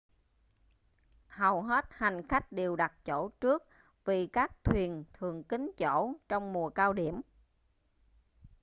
hầu hết hành khách đều đặt chỗ trước vì các thuyền thường kín chỗ trong mùa cao điểm